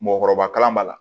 Mɔgɔkɔrɔba kalan b'a la